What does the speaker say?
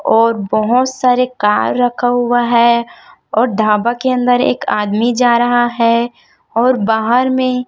और बहोत सारे कार रखा हुआ है और ढाबा के अंदर एक आदमी जा रहा है और बाहर में--